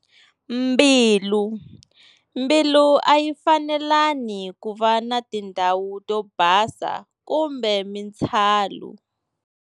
Mbilu-Mbilu a yi fanelani ku va na tindhawu to basa kumbe mintshalu.